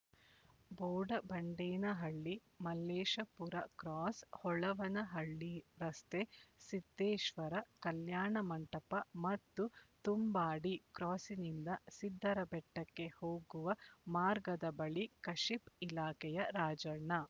Bodabandenahalli Malleshapura cross Holavanahalli ರಸ್ತೆ ಸಿದ್ದೇಶ್ವರ ಕಲ್ಯಾಣ ಮಂಟಪ ಮತ್ತು ತುಂಬಾಡಿ ಕ್ರಾಸ್ಸಿನಿಂದ ಸಿದ್ದರಬೆಟ್ಟಕ್ಕೆ ಹೋಗುವ ಮಾರ್ಗದ ಬಳಿ ಕಶಿಪ್ ಇಲಾಖೆಯ ರಾಜಣ್ಣ